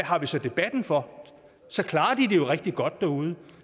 har vi så debatten for så klarer de det jo rigtig godt derude